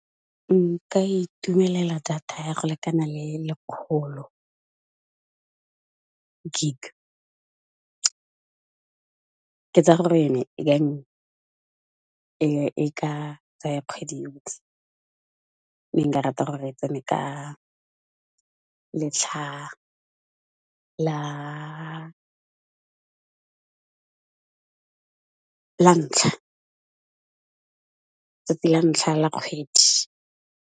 Nka itumelela data ya go lekana le lekgolo gig. Ke tsaya gore yone e ka tsaya kgwedi yotlhe, mme nka rata gore e tsene ka letlha la ntlha, tsatsi la ntlha la kgwedi.